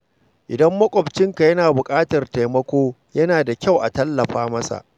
Idan makwabcinka yana buƙatar taimako, yana da kyau a tallafa masa.